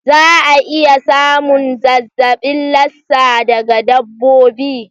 Za a iya samun zazzabin Lassa daga dabbobi.